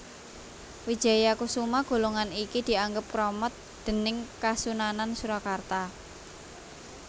Wijayakusuma golongan iki dianggep kramat déning Kasunanan Surakarta